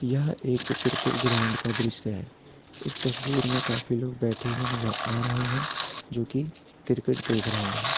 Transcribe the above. यह एक cricket ground का दृश्य है इस तस्वीर में काफी लोग बैठे नजर आ रहे हैं जो कि क्रिकेट देख रहे हैं।